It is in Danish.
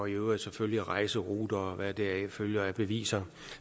øvrigt selvfølgelig rejseruter og hvad deraf følger af beviser